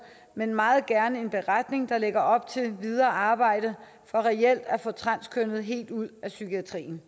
men meget gerne en beretning der lægger op til et videre arbejde for reelt at få transkønnede helt ud af psykiatrien